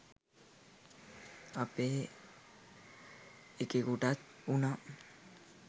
අපේ එකෙකුටත් උනා